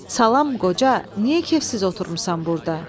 Salam qoca, niyə keyfsiz oturmusan burda?